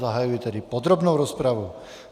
Zahajuji tedy podrobnou rozpravu.